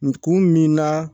N kun min na